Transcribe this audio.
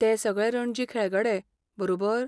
ते सगळे रणजी खेळगडे, बरोबर?